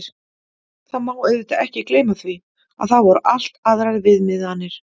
Það má auðvitað ekki gleyma því, að þá voru allt aðrar viðmiðanir.